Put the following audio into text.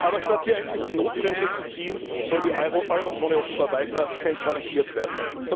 Aber statt hier endlich die Notbremse zu ziehen, soll die Eurozone offenbar weiter zentralisiert werden.